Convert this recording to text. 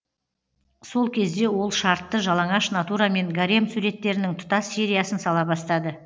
сол кезде ол шартты жалаңаш натурамен гарем суреттерінің тұтас сериясын сала бастады